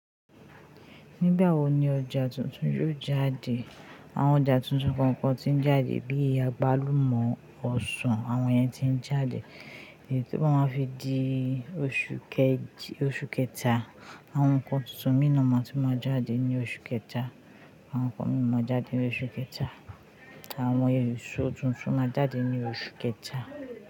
Nígbà wo ni ọjà tuntun yóò jáde? Àwọn ọjà tuntun kọ̀ọ̀kan tí ń jáde bíi agbalumọ, ọsàn àwọn yẹn ti ń jáde. Èyí tí o ba máa fi di oṣù kejì, oṣù kẹta. Àwọn nǹkan tuntun mìí na ma ti máa jáde ní oṣù kẹta. Àwọn nǹkan mìíràn máa jáde ní oṣù kẹta. Àwọn èsò tuntun máa jáde ní oṣù kẹta.